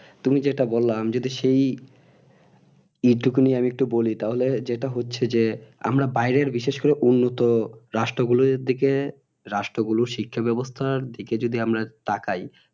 তুমি যেটা বল্লা আমি যদি সেই নিয়ে আমি একটু বলি তাহলে যেটা হচ্ছে যে আমরা বাইরে বিশেষ করে উন্নত রাষ্ট্র গুলোর দিকে রাষ্ট্র গুলোর শিক্ষা বাবস্থার দিকে যদি আমরা তাকাই